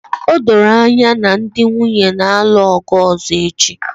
O doro anya na ndị nwunye na-alụ ọgụ ọzọ echi